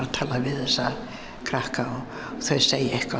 að tala við þessa krakka og þau segja eitthvað